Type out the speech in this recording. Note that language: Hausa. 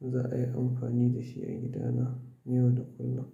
za a yi amfani da shi a gidana yau da kullum.